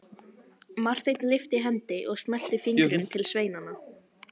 Marteinn lyfti hendi og smellti fingrum til sveinanna.